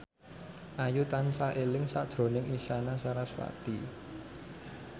Ayu tansah eling sakjroning Isyana Sarasvati